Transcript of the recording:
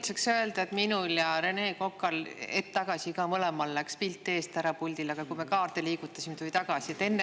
Tahan öelda, et minul ja Rene Kokal hetk tagasi läks ka mõlemal puldil pilt eest ära, aga kui me kaarti liigutasime, tuli tagasi.